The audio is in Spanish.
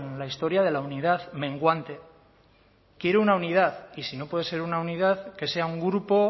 la historia de la unidad menguante quiero una unidad y si no puede ser una unidad que sea un grupo